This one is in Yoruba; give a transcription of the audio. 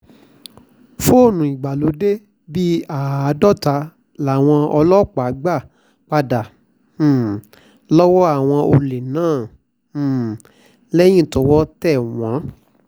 fóònù ìgbàlódé bíi àádọ́ta làwọn ọlọ́pàá gbà padà um lọ́wọ́ àwọn olè náà um lẹ́yìn tọwọ́ tẹ̀ wọ́n